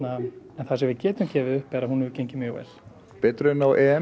það sem við getum gefið upp er að hún hefur gengið mjög vel betur en á